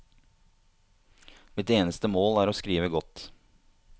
Mitt eneste mål er å skrive godt.